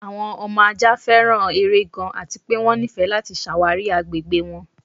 Awọn ọmọ ajá fẹ́ran èrè gàn àti pẹ̀ wọn nífẹ̀ láti ṣáwárí agbẹ̀gbẹ̀ wọn.